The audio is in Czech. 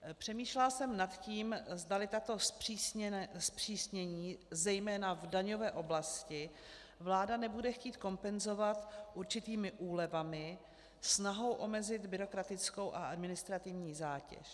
Přemýšlela jsem nad tím, zdali tato zpřísnění zejména v daňové oblasti vláda nebude chtít kompenzovat určitými úlevami, snahou omezit byrokratickou a administrativní zátěž.